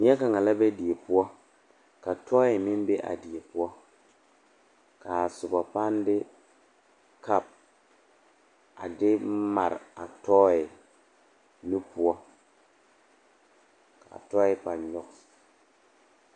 Neɛ kaŋa la be die poɔ ka tɔɔye meŋ be a die poɔ k,a soba pãâ de kapu a de mare a tɔɔye nu poɔ k,a tɔɔye pãâ nyɔge.